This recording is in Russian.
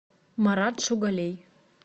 марат шугалей